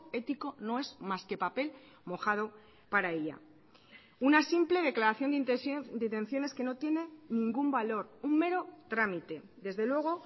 ético no es más que papel mojado para ella una simple declaración de detenciones que no tiene ningún valor un mero trámite desde luego